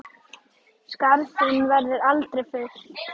Skarð þinn verður aldrei fyllt.